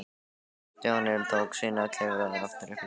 Stjáni tók sína og klifraði aftur upp í kojuna.